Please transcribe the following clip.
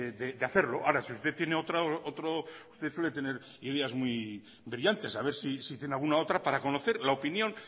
de hacerlo ahora si usted tiene otra forma usted suele tener ideas muy brillantes a ver si tiene alguna otra para conocer la opinión